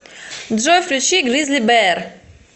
джой включи гризли бэар